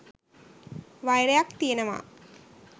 වෛරයක් තියෙනවා